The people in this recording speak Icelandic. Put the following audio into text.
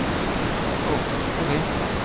Ó. ókei